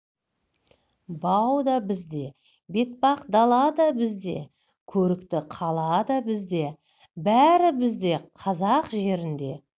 бау да бізде бетпақ дала да бізде көрікті қала да бізде бәрі бізде қазақ жерінде